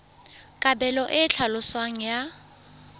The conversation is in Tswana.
kabelo e e tlhaloswang ya